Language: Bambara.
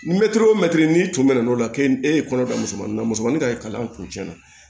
Mɛtiri o mɛtiri n'i tun mɛnna n'o la k'e e ye kɔnɔ da musomannin na musomanni ka kalan kuncɛ na